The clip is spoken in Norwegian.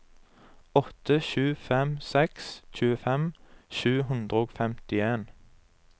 åtte sju fem seks tjuefem sju hundre og femtien